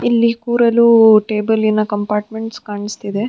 ಇಲ್ಲಿ ಕೂರಲು ಟೇಬಲಿನ ಕಂಪಾರ್ಟ್ಮೆಂಟ್ಸ್ ಕಾಣುತ್ತಿದೆ .